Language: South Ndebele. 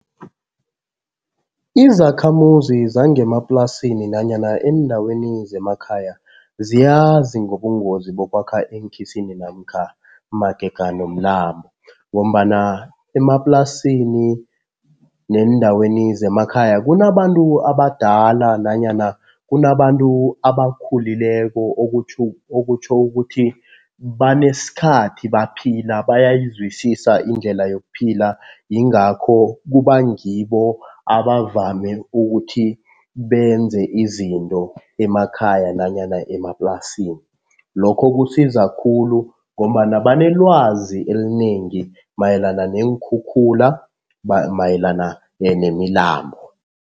Izakhamuzi zangemaplasini nanyana eendaweni zemakhaya ziyazi ngobungozi bokwakha eenkhisini namkha magega nomlambo ngombana emaplasini neendaweni zemakhaya kunabantu abadala nanyana kunabantu abakhulileko okutjho ukuthi banesikhathi baphila bayayizwisisa indlela yokuphila, yingakho kuba ngibo abavame ukuthi benze izinto emakhaya nanyana emaplasini. Lokho kusiza khulu ngombana banelwazi elinengi mayelana neenkhukhula, mayelana nemilambo.